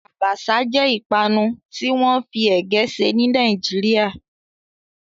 Àbàṣà jẹ́ ìpanu tí wọ́n fi ègé ṣe ní Nàìjíríà